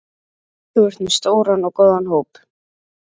Þú ert með stóran og góðan hóp?